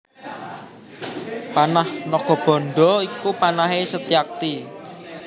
Panah Nagabandha iku panahé Setyaki